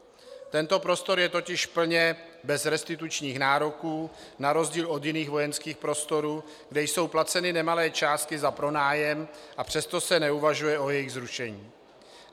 Tento prostor je totiž plně bez restitučních nároků na rozdíl od jiných vojenských prostorů, kde jsou placeny nemalé částky za pronájem, a přesto se neuvažuje o jejich zrušení.